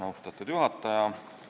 Austatud juhataja!